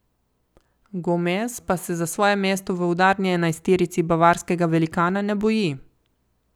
Gomez pa se za svoje mesto v udarni enajsterici bavarskega velikana ne boji.